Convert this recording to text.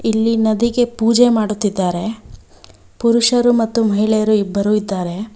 ಇಲ್ಲಿ ನದಿಗೆ ಪೂಜೆ ಮಾಡುತ್ತಿದ್ದಾರೆ ಪುರುಷರು ಮತ್ತು ಮಹಿಳೆಯರು ಇಬ್ಬರು ಇದ್ದಾರೆ.